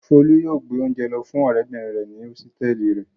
Folú yóò gbé oúnjẹ lọ fún ọ̀rẹ́bìnrin rẹ̀ ní hósítẹ́ẹ́lì rẹ̀.